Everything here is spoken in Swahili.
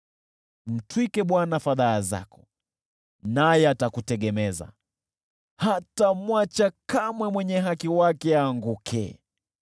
Mtwike Bwana fadhaa zako, naye atakutegemeza, hatamwacha kamwe mwenye haki wake aanguke.